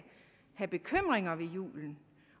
have bekymringer for julen